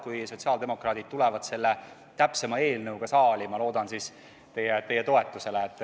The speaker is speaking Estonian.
Kui sotsiaaldemokraadid täpsema eelnõuga saali tulevad, siis ma loodan teie toetusele.